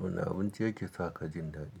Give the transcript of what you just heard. Wani abinci yake sa ka jin daɗi?